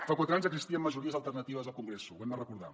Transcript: fa quatre anys existien majories alternatives al congreso ho hem de recordar